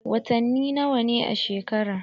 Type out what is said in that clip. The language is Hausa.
Watani nawa ne a shekara?